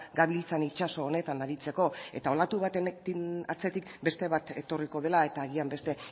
gabiltzan itsaso honetan aritzeko eta olatu baten atzetik beste bat etorriko dela eta agian beste